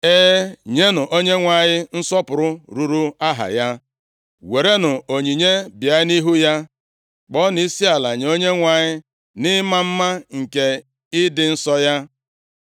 E, nyenụ Onyenwe anyị nsọpụrụ ruuru aha ya, werenụ onyinye bịa nʼihu ya. Kpọọnụ isiala nye Onyenwe anyị nʼịma mma nke ịdị nsọ ya.